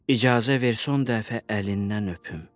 İcazə ver son dəfə əlindən öpüm.